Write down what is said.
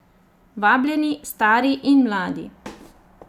Vabljeni stari in mladi!